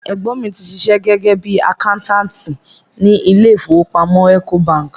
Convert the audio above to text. Ẹ̀gbọ́n mi ti ṣiṣẹ́ gẹ́gẹ́ bíi àkáńtáàtì ni ilé ìfowópamọ́ Ecobank.